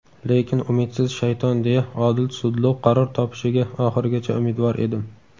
lekin umidsiz shayton deya odil sudlov qaror topishiga oxirigacha umidvor edim.